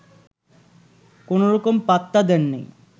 কোনোরকম পাত্তা দেননি